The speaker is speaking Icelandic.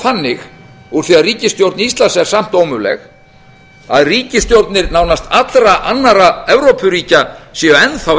þannig úr því að ríkisstjórn íslands er samt ómöguleg að ríkisstjórnir nánast allra annarra evrópuríkja séu enn þá